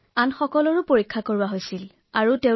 বাকী সকলোৰে পৰীক্ষা কৰোৱা হল